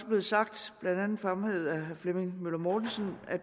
blevet sagt og blandt andet fremhævet af herre flemming møller mortensen at